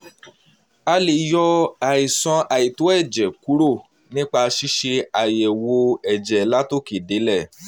a lè yọ àìsàn àìtó ẹ̀jẹ̀ kúrò nípa ṣíṣe àyẹ̀wò ẹ̀jẹ̀ látòkè délẹ̀